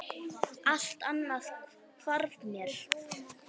Allt annað hvarf mér.